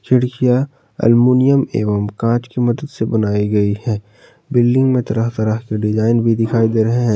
खिड़कियां एल्यूमिनियम एवं कांच की मदद से बनाई गई हैं बिल्डिंग में तरह तरह के डिजाइन भी दिखाई दे रहे हैं।